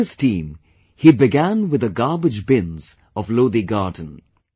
With his team, he began with the garbage bins of Lodi Garden